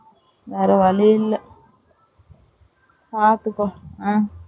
வேற வழியில்ல பாத்துக்கோ ஆ